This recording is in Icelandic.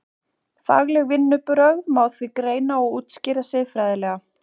Fagleg vinnubrögð má því greina og útskýra siðfræðilega.